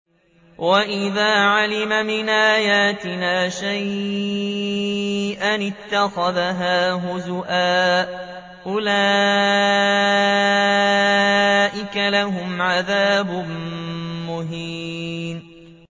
وَإِذَا عَلِمَ مِنْ آيَاتِنَا شَيْئًا اتَّخَذَهَا هُزُوًا ۚ أُولَٰئِكَ لَهُمْ عَذَابٌ مُّهِينٌ